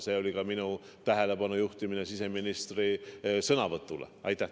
See oli ka minu tähelepanu juhtimine siseministri sõnavõtule.